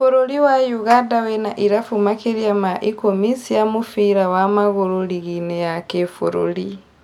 Bũrũri wa Ũganda wĩna irabu makĩrĩa ma ikumi cia mũbira wa maguru ligi-inĩ ya kibũrũri